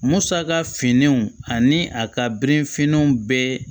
Musaka finiw ani a ka bere finnenw bɛ